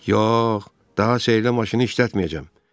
Yox, daha sehri maşını işlətməyəcəm.